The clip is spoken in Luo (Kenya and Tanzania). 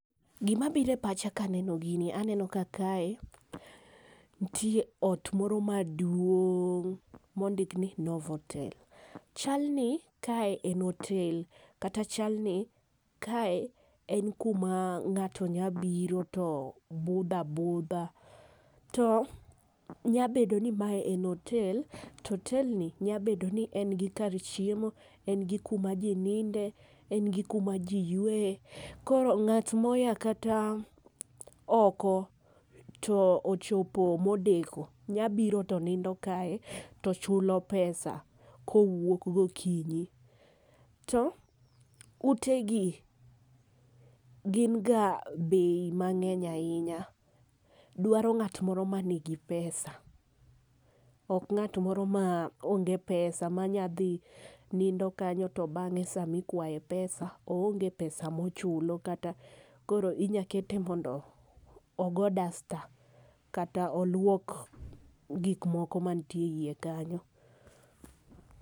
Gima biro e pacha ka aneno gini aneno ka kae nitie ot moro maduong' mondik ni Novatel. Chal ni kae en hotel kata chal ni kae en kuma ng'ato nyalo biroe to budho abudha to nyalo bedo ni mae en hotel to hotel ni nyalo bedo ni en gi kar chiemo, en gi kuma ji ninde, en gi kuma ji yueye koro ng'at moa kata oko to ochopo modeko nyalo biro to nindo kae to chulo pesa ko wuok gokinyi. To utegi gin ga bei mang'eny ahinya. Dwaro ng'at moro man gi pesa, ok ng'at moro ma onge pesa ma nyalo dhi nindo kany to bang'e sama ikwaye pesa oonge pesa mochulo makata inyalo kete mondno ogo dasta kata oluok gik moko mantie eiye kanyo.